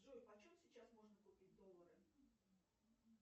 джой по чем сейчас можно купить доллары